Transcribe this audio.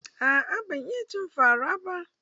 Aa ban iya cin fa ra ba.